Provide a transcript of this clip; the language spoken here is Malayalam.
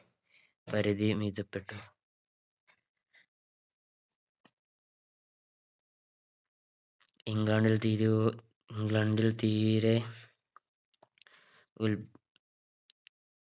പരിധി മിതപ്പെട്ടു ഇംഗ്ലണ്ടിൽ തീരു ഇംഗ്ലണ്ടിൽ തീരെ ഉൽ